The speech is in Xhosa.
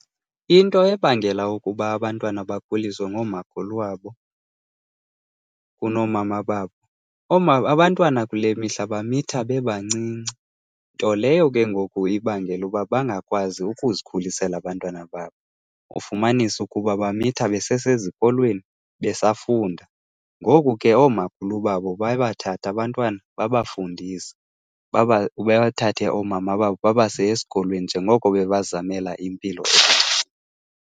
Into ebangela ukuba abantwana bakhuliswe ngoomakhulu wabo kunoomama babo, abantwana kule mihla bamitha bebancinci, nto leyo ke ngoku ibangela uba bangakwazi ukuzikhulisela abantwana babo. Ufumanise ukuba bamitha besesezikolweni, besafunda. Ngoku ke oomakhulu babo baye babathathe abantwana babafundise, bathathe oomama babo babase esikolweni njengoko bebebazamelela impilo .